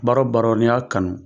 Baara o baara n'i y'a kanu